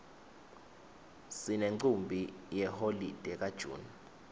sinemcimbi yeholide ka june